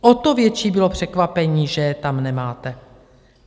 O to větší bylo překvapení, že je tam nemáte.